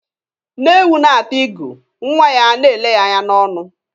Nne ewu na-ata igu, nwa ya ga a na-ele ya anya n'ọnụ.